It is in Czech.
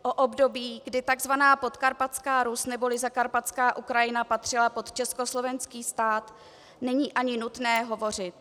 O období, kdy tzv. Podkarpatská Rus neboli Zakarpatská Ukrajina patřila pod československý stát, není ani nutné hovořit.